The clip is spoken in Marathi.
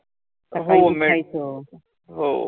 हो लईचं हो